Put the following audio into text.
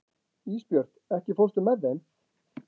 Ísbjört, ekki fórstu með þeim?